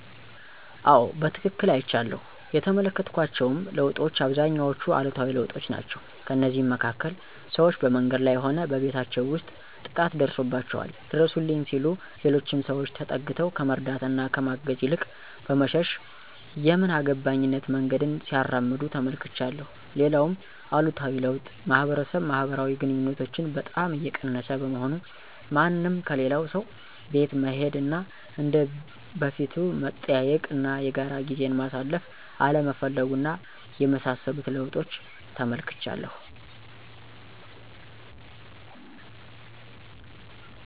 አዎ በትክክል አይቻለሁ። የተመለከትኳቸውም ለውጦች አብዛኞቹ አሉታዊ ለውጦች ናቸው። ከእነዚህም መካከል፦ ሰዎች በመንገድ ላይ ሆነ በቤታቸው ውስጥ ጥቃት ደርሶባቸዋል ድረሱልኝ ሲሉ ሌሎች ሰዎች ተጠግተው ከመርዳት እና ከማገዝ ይልቅ በመሸሽ የምን አገባኝነት መንገድን ሲያራምዱ ተመልክቻለሁ። ሌላውም አሉታዊ ለውጥ ማህበረሰብ ማህበራዊ ግንኙነቶችን በጣም እየቀነሰ በመሆኑ፤ ማንም ከሌላው ሰው ቤት መሄድ እና እንደ በፊቱ መጠያየቅ እና የጋራ ጊዜን ማሳለፍ አለመፈለጉ እና የመሳሰሉትን ለውጦች ተመልክቻለሁ።